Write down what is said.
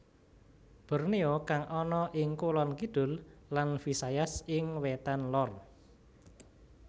Borneo kang ana ing Kulon Kidul lan Visayas ing Wètan Lor